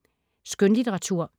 Skønlitteratur